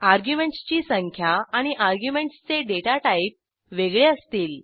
arguments ची संख्या आणि अर्ग्युमेंटसचे डेटा टाईप वेगळे असतील